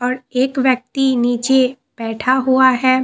और एक व्यक्ति नीचे बैठा हुआ है।